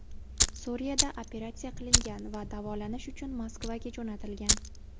Suriyada operatsiya qilingan va davolanish uchun Moskvaga jo‘natilgan.